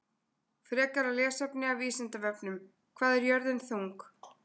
Frekara lesefni af Vísindavefnum: Hvað er jörðin þung?